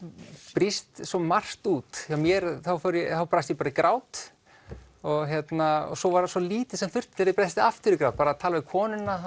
brýst svo margt út hjá mér þá brast ég bara í grát og svo var svo lítið sem þurfti til að ég brysti aftur í grát að tala við konuna þá